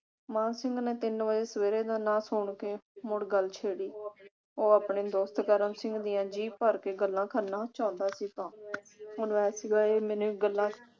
ਮਾਨ ਸਿੰਘ ਨੇ ਤਿੰਨ ਵਜੇ ਸਵੇਰੇ ਦਾ ਨਾ ਸੁਣ ਕੇ ਮੁੜ ਗੱਲ ਛੇੜੀ। ਉਹ ਆਪਣੇ ਦੋਸਤ ਕਰਮ ਸਿੰਘ ਦੀਆਂ ਜੀ ਭਰ ਕੇ ਗੱਲਾਂ ਕਰਨਾ ਚਾਹੁੰਦਾ ਸੀਗਾ ਹੈ ਮੈਨੂੰ ਗੱਲਾਂ ਛੇੜਣ